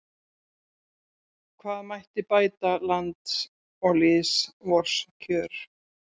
Hve mætti bæta lands og lýðs vors kjör